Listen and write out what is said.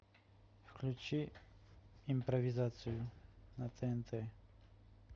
включи импровизацию на тнт